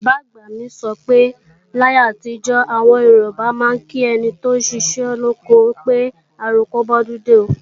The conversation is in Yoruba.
Bàbá-àgbà mi sọ pé láyé àtijọ́, àwọn Yorùbá máa ń kí ẹni tóún ṣiṣẹ́ lóko pé "àroko bọ́dúndé o"